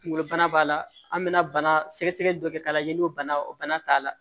Kunkolo bana b'a la an bɛna bana sɛgɛsɛgɛ dɔ kɛ k'a lajɛ n'o bana o bana t'a la